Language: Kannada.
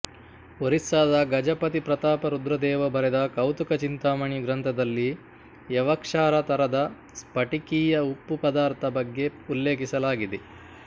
ಒರಿಸ್ಸಾದ ಗಜಪತಿ ಪ್ರತಾಪ ರುದ್ರದೇವ ಬರೆದ ಕೌತುಕ ಚಿಂತಾಮಣಿ ಗ್ರಂಥದಲ್ಲಿ ಯವಕ್ಷಾರ ತರದ ಸ್ಫಟಿಕೀಯ ಉಪ್ಪು ಪದಾರ್ಥ ಬಗ್ಗೆ ಉಲ್ಲೇಖಿಸಲಾಗಿದೆ